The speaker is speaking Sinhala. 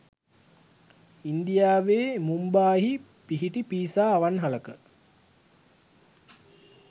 ඉන්දියාවේ මුම්බායිහි පිහිටි පීසා අවන්හලක